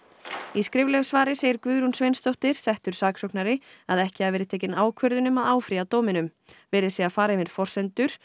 í skriflegu svari segir Guðrún Sveinsdóttir settur saksóknari að ekki hafi verið tekin ákvörðun um að áfrýja dóminum verið sé að fara yfir forsendur